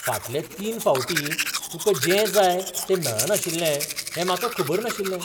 फाटल्या तीन फावटीं तुका जें जाय तें मेळनाशिल्लें हें म्हाका खबर नाशिल्लें.